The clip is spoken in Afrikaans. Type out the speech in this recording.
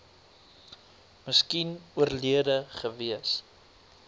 miskien oorlede gewees